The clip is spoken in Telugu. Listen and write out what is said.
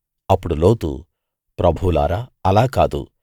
అప్పుడు లోతు ప్రభువులారా అలా కాదు